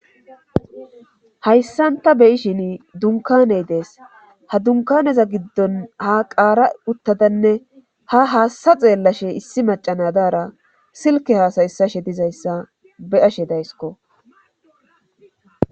Hayssan ta beyishin dunkaney dees ha dunkaneza giddon ha qaara uttadanne ha haasta xeellashe issi macanadaara silke haasayyssashe dizayssa beyashe daysko.